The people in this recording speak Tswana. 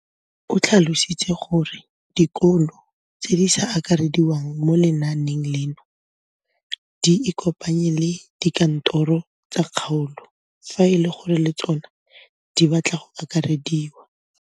O tlhalositse gore dikolo tse di sa akarediwang mo lenaaneng leno di ikopanye le dikantoro tsa kgaolo fa e le gore le tsona di batla go akarediwa.